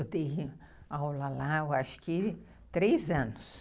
Eu dei aula lá, acho que três anos.